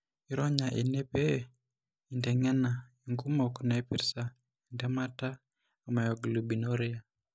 Ironya ene pee inteng'ena inkumok naipirta entemata emyoglobinuria.